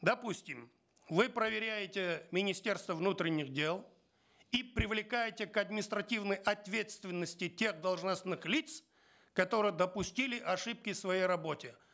допустим вы проверяете министерство внутренних дел и привлекаете к административной ответственности тех должностных лиц которые допустили ошибки в своей работе